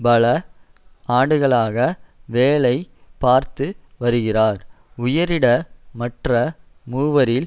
பல ஆண்டுகளாக வேலை பார்த்து வருகிறார் உயரிட மற்ற மூவரில்